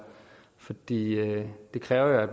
fordi det jo kræver at